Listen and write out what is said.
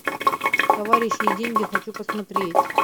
товарищи и деньги хочу посмотреть